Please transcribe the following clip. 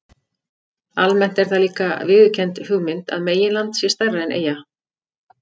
Almennt er það líka viðurkennd hugmynd að meginland sé stærra en eyja.